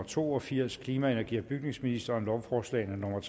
to og firs klima energi og bygningsministeren lovforslag nummer